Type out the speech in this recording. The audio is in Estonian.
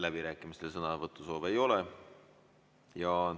Läbirääkimistel sõnavõtusoove ei ole.